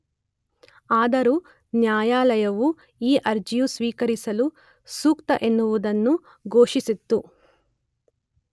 ಆದರೂ ನ್ಯಾಯಾಲಯವು ಈ ಅರ್ಜಿಯು ಸ್ವೀಕರಿಸಲು ಸೂಕ್ತ ಎನ್ನುವುದನ್ನು ಘೋಷಿಸಿತು.